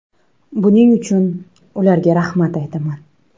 Buning uchun ularga rahmat aytaman.